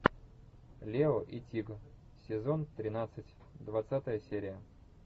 лео и тиг сезон тринадцать двадцатая серия